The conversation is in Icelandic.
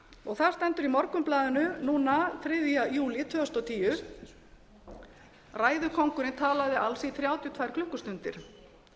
og það stendur í morgunblaðinu núna þriðja júlí tvö þúsund og tíu ræðukóngurinn talaði alls í þrjátíu og tvær klukkustundir